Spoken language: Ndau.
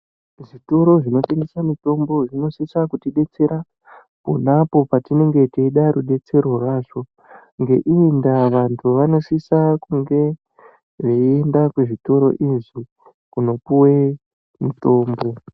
Kuzvitoro zvinotengesa mitombo, zvinosisa kutidetsera pona apo patinge teida rudetsero rwazvo. Ngeiyi ndaa, vantu vanosisa kunge veienda kuzvitoro izvi, kunopuwe mutombo.